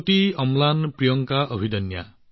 প্ৰগতি অম্লান প্ৰিয়ংকা অভিদন্য সকলোৱে